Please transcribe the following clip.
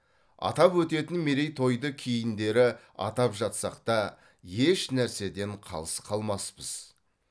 атап өтетін мерейтойды кейіндері атап жатсақ та еш нәрседен қалыс қалмаспыз